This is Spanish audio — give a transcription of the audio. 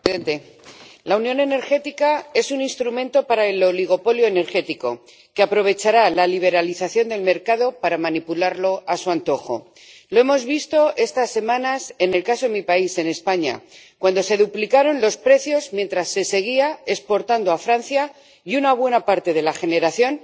Señor presidente, señor vicepresidente de la Comisión, la unión energética es un instrumento para el oligopolio energético, que aprovechará la liberalización del mercado para manipularlo a su antojo. Lo hemos visto estas semanas en el caso de mi país, en España, cuando se duplicaron los precios mientras se seguía exportando a Francia y una buena parte de la generación,